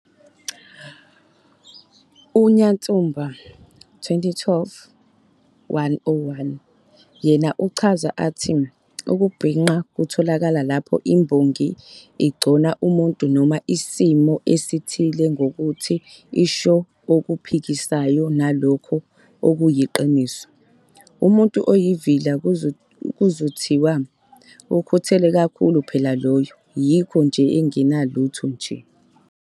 UNyatsumba, 2012-101, yena uchaza athi, "Ukubhinqa kutholakala lapho imbongi igcona umuntu noma isimo esithile ngokuthi isho okuphikisanayo nalokho okuyiqiniso. Kumuntu oyivila kuzothiwa, 'Ukhuthele kakhulu phela lowo yikho nje enganalutho nje.'"